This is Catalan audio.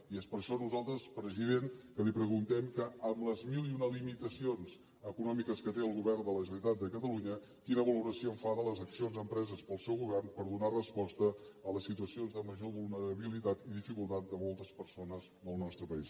i és per això que nosaltres president li preguntem que amb les mil i una limitacions econòmiques que té el govern de la generalitat de catalunya quina valoració en fa de les accions empreses pel seu govern per donar resposta a les situacions de major vulnerabilitat i dificultat de moltes persones del nostre país